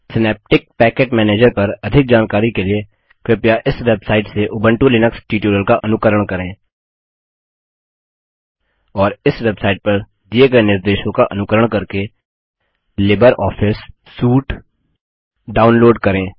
synaptic package manager पर अधिक जानकारी के लिए कृपया इस वेबसाइट से उबंटु लिनक्स ट्यूटोरियल्स का अनुकरण करें और इस वेबसाइट पर दिये गए निर्देशों का अनुकरण करके लिबर ऑफिस सूट डाउनलोड करें